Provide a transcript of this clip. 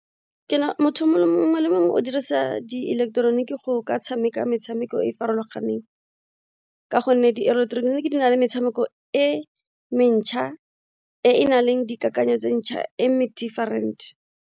Motho mongwe le mongwe o dirisa di eleketeroniki go ka tshameka metshameko e e farologaneng ka gonne di-electronic di na le metshameko e mentšha e na leng dikakanyo tse ntšha e different.